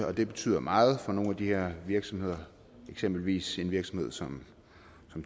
og det betyder meget for nogle af de her virksomheder eksempelvis en virksomhed som